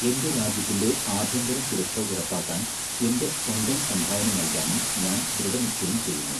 എന്റെ രാജ്യത്തിന്റെ ആഭ്യന്തര സുരക്ഷ ഉറപ്പാക്കാൻ എന്റെ സ്വന്തം സംഭാവന നൽകാനും ഞാൻ ദൃഢനിശ്ചയം ചെയ്യുന്നു.